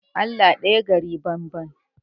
Allah ɗaya gari banban